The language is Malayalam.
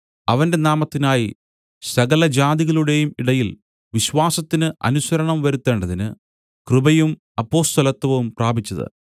അവന്റെ നാമത്തിനായി സകലജാതികളുടെയും ഇടയിൽ വിശ്വാസത്തിന് അനുസരണം വരുത്തേണ്ടതിന് കൃപയും അപ്പൊസ്തലത്വവും പ്രാപിച്ചത്